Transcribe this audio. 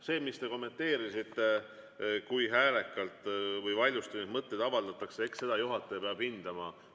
Seda, mida te kommenteerisite, kui häälekalt või valjusti neid mõtteid avaldatakse, peab juhataja hindama.